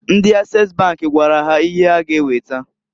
Ndi Ases bank gwara ha ihe ha ga eweta.